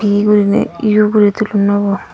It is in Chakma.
ee gurinei yu guri tullonnoi bo.